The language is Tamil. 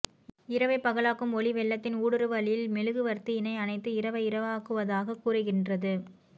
இரவை பகலாக்கும் ஒளி வெள்ளத்தின் ஊடுறுவலில் மெழுகு வர்த்தியினை அணைத்து இரவை இரவாக்குவதாகக் கூறுகின்றது